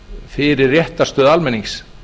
fyrir réttarstöðu almennings